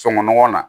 Sokɔnɔ nɔgɔw na